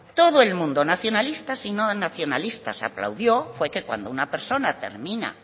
todo el mundo nacionalista y no nacionalistas aplaudió fue que cuando una persona termina